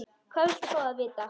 Hvað viltu fá að vita?